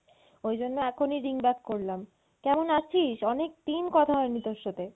ওই জন্য এখনই ring back করলাম, কেমন আছিস? অনেকদিন কথা হয়নি তোর সাথে।